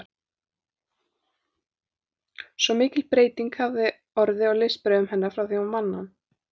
Svo mikil breyting hefði orðið á listbrögðum hennar frá því hún vann hann.